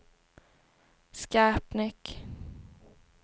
Skarpnäck